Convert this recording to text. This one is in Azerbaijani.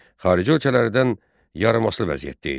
Xarici ölkələrdən yarımasılı vəziyyətdə idi.